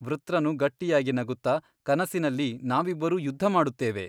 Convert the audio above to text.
ವೃತ್ರನು ಗಟ್ಟಿಯಾಗಿ ನಗುತ್ತ ಕನಸಿನಲ್ಲಿ ನಾವಿಬ್ಬರೂ ಯುದ್ಧಮಾಡುತ್ತೇವೆ.